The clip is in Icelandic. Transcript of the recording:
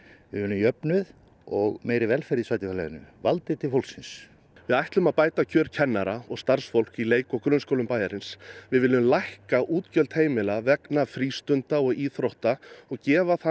við viljum jöfnuð og meiri velferð í sveitarfélaginu valdið til fólksins við ætlum að bæta kjör kennara og starfsfólks í leik og grunnskólum bæjarins við viljum lækka útgjöld heimila vegna frístunda og íþrótta og gefa þannig